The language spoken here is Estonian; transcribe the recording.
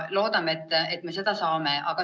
Loodame, et me selle raha saame.